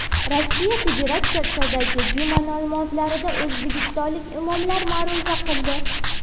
Rossiya Federatsiyasidagi juma namozlarida o‘zbekistonlik imomlar ma’ruza qildi.